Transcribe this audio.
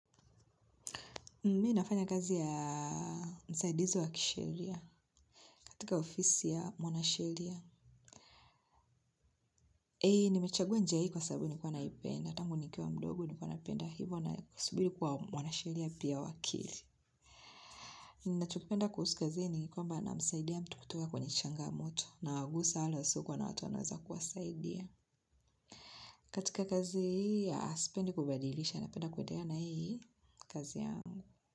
Mimi nafanya kazi ya msaidizi wa kisheria, katika ofisi ya mwanasheria. Eeh, nimechagua njia hii kwa sababu nilikuwa naipenda. Tangu nikiwa mdogo nilikuwa napenda hivo na subiri kuwa mwanasheria pia wakili. Ninachokipenda kuhusu kazi hii ni kwamba namsaidia mtu kutoka kwenye changamoto. Nawagusa wale wasiokuwa na watu wanaweza kuwasaidia. Katika kazi hii sipendi kubadilisha. Napenda kuendelea na hii kazi yangu.